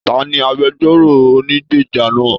Taní agbẹ̀jọ́ro ònígbeja náà?